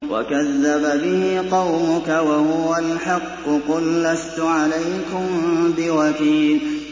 وَكَذَّبَ بِهِ قَوْمُكَ وَهُوَ الْحَقُّ ۚ قُل لَّسْتُ عَلَيْكُم بِوَكِيلٍ